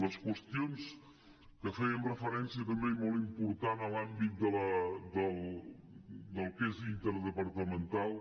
les qüestions que feien referència també i molt important a l’àmbit del que és interdepartamental